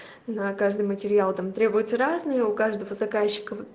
на каждый материал там требуется разные у каждого заказчика